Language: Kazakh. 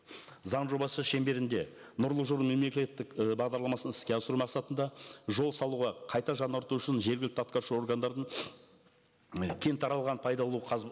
заң жобасы шеңберінде нұрлы жол мемлекеттік і бағдарламасын іске асыру мақсатында жол салуға қайта жаңарту үшін жергілікті атқарушы органдардың і кең таралған пайдалы